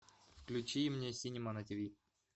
включи мне синема на тв